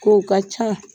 Kow ka ca